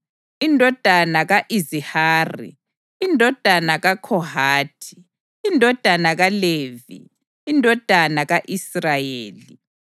indodana ka-Izihari, indodana kaKhohathi, indodana kaLevi, indodana ka-Israyeli.